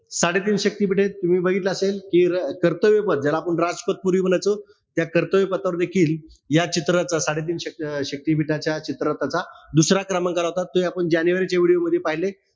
साडेतीन शक्तिपीठं ए. तुम्ही बघितलं असेल कि कर्तव्यपद ज्याला आपण राजपद पूर्वी म्हणायचो. त्या कर्तव्यपथावर देखील या चित्राचा, साडेतीन शक्तिपीठाच्या दुसरा क्रमांक लावतात. ते आपण जानेवारीच्या video मध्ये पाहिलंय.